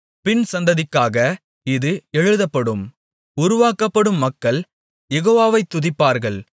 பின்சந்ததிக்காக இது எழுதப்படும் உருவாக்கப்படும் மக்கள் யெகோவாவை துதிப்பார்கள்